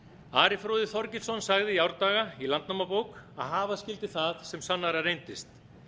ari fróði þorgilsson sagði í árdaga í landnámabók að hafa skyldi það sem sannara reyndist